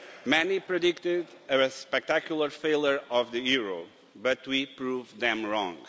Many predicted a spectacular failure of the euro, but we proved them wrong.